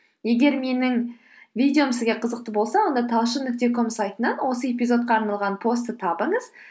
егер менің видеом сізге қызықты болса онда талшын нүкте ком сайтынан осы эпизодқа арналған постты табыңыз